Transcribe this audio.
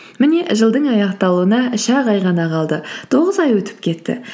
міне жылдың аяқталуына үш ақ ай ғана қалды тоғыз ай өтіп кетті